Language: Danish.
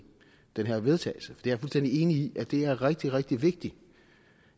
det her vedtagelse jeg er fuldstændig enig i at det er rigtig rigtig vigtigt